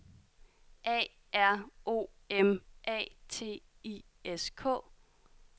A R O M A T I S K